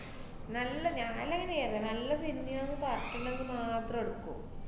നല്ല നല്ല സിനിമയാന്ന് പറഞ്ഞിട്ടുള്ളത് മാത്രേ എടുക്കു.